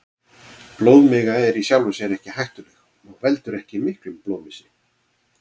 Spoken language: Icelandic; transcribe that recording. Blóðmiga er í sjálfu sér ekki hættuleg og veldur ekki miklum blóðmissi.